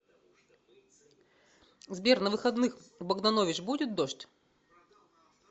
сбер на выходных в богданович будет дождь